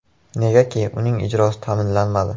Negaki, uning ijrosi ta’minlanmadi.